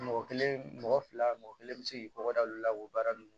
Mɔgɔ kelen mɔgɔ fila mɔgɔ kelen bɛ se k'i kɔkɔ da olu la o baara ninnu